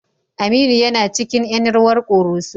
Aminu yana cikin ƴan rawar ƙoroso.